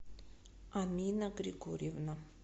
амина григорьевна